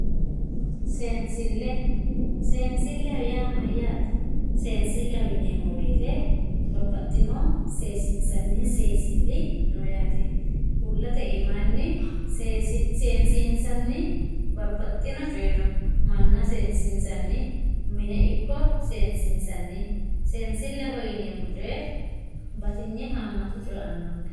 seensille seensilleho yaa mayyaate seensilleho yineemmo woyiite babbaxxino seesiinssanni seensilli no yaate uullate iimaanni seesiinssanni babbaxxino coy no manna seesiinssanni mine ikko seesiinssanni seensilleho yineemmo coy batinye haammata coyee aannonke